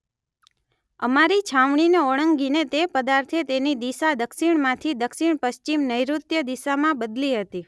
અમારી છાવણીને ઓળંગીને તે પદાર્થે તેની દિશા દક્ષિણમાંથી દક્ષિણપશ્ચિમ નૈઋત્ય દિશામાં બદલી હતી